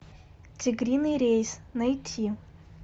тигриный рейс найти